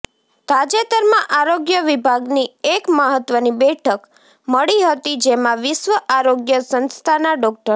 તાજેતરમાં આરોગ્ય વિભાગની એક મહત્વની બેઠક મળી હતી જેમાં વિશ્વ આરોગ્ય સંસ્થાના ડો